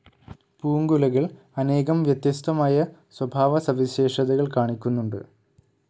പൂങ്കുലകൾ അനേകം വ്യത്യസ്തമായ സ്വഭാവസവിശേഷതകൾ കാണിക്കുന്നുണ്ട്.